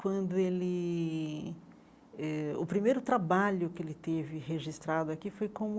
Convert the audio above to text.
Quando ele... eh o primeiro trabalho que ele teve registrado aqui foi como...